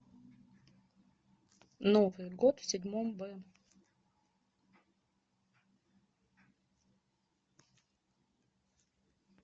новый год в седьмом б